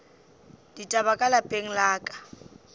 ditaba ka lapeng la ka